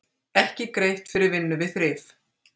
Ekki greitt fyrir vinnu við þrif